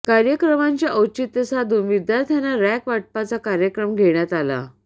कार्यक्रमाचे औचित्य साधून विद्यार्थांना रँक वाटपाचा कार्यक्रम घेण्यात आला